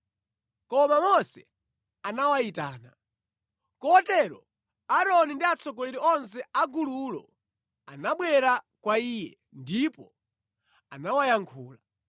Koma Mose anawayitana. Kotero Aaroni ndi atsogoleri onse a gululo anabwera kwa iye, ndipo anawayankhula.